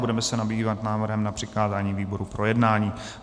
Budeme se zabývat návrhem na přikázání výborům k projednání.